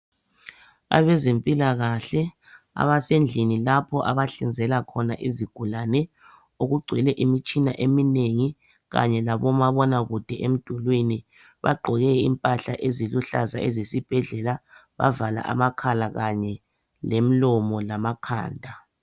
Abezempilakahle abasendlini lapho abahlinzela khona izigulani okungcwele imitshini eminengi Kanye labo mabona kude emdulwini bavale amakhala Kanye lemilomo lamakhanda.